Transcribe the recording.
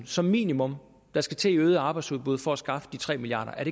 som minimum der skal til i øget arbejdsudbud for at skaffe de tre milliard